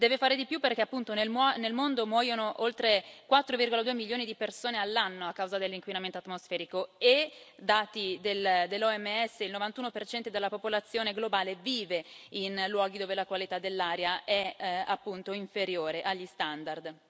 Deve fare di più perché appunto nel mondo muoiono oltre 4,2 milioni di persone all'anno a causa dell'inquinamento atmosferico e, secondo i dati dell'OMS, il 91 della popolazione globale vive in luoghi dove la qualità dell'aria è appunto inferiore agli standard.